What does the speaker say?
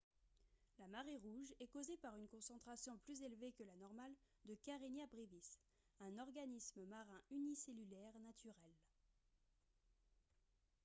la marée rouge est causée par une concentration plus élevée que la normale de karenia brevis un organisme marin unicellulaire naturel